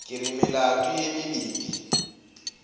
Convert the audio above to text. ke re melato ye mebedi